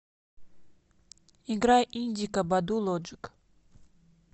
играй индика баду лоджик